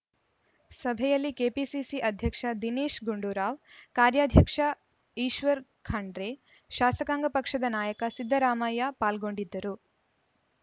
ಸಭೆಯಲ್ಲಿ ಕೆಪಿಸಿಸಿ ಅಧ್ಯಕ್ಷ ದಿನೇಶ್‌ ಗುಂಡೂರಾವ್‌ ಕಾರ್ಯಾಧ್ಯಕ್ಷ ಈಶ್ವರ್‌ ಖಂಡ್ರೆ ಶಾಸಕಾಂಗ ಪಕ್ಷದ ನಾಯಕ ಸಿದ್ದರಾಮಯ್ಯ ಪಾಲ್ಗೊಂಡಿದ್ದರು